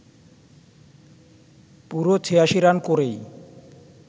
পুরো ৮৬ রান করেই